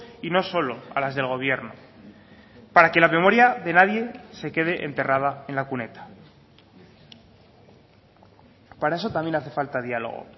y no solo a las del gobierno para que la memoria de nadie se quede enterrada en la cuneta para eso también hace falta diálogo